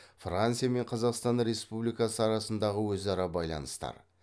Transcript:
франция мен қазақстан республикасы арасындағы өзара байланыстар